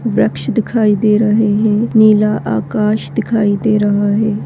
वृक्ष दिखाई दे रहे है नीला आकाश दिखाई दे रहा है।